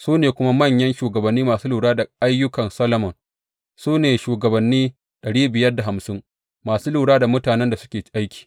Su ne kuma manyan shugabanni masu lura da ayyukan Solomon, su ne shugabanni masu lura da mutanen da suke aiki.